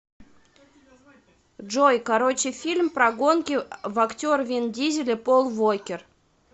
джой короче фильм прогонки в актер вин дизель и пол вокер